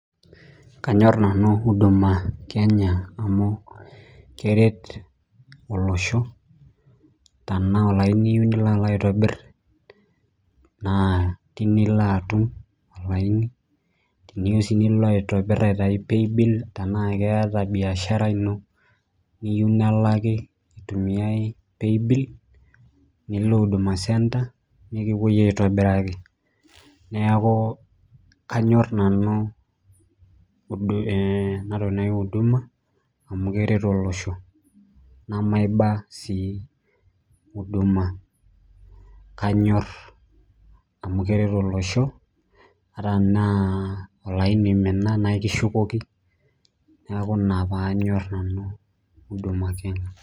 Manyorr Nanu uduma Kenya amu keret olosho, tenaa olaini iyieu nilo aitobirr naa tine iloo atum, tenaa sii iyieu nilo aitayu paybill tenaa keetae biashara ino niyieu nelaki itumia paybill nilo Huduma centre peekupoi aitobiraki neeku kanyorr nanu ena toki naaii Huduma amu kisidai tolosho nemaiba sii Huduma kanyorr amu keret olosho amu ata tenaa olaini oominaa naa ekishukoki neeku ina paanyorr Huduma Kenya.